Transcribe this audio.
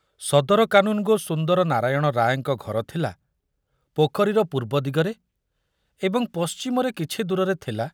ସଦର କାନୁନଗୋ ସୁନ୍ଦର ନାରାୟଣ ରାୟଙ୍କ ଘର ଥିଲା ପୋଖରୀର ପୂର୍ବ ଦିଗରେ ଏବଂ ପଶ୍ଚିମରେ କିଛି ଦୂରରେ ଥିଲା